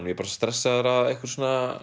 ég er bara stressaður að einhverjum